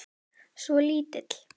Svo lítill.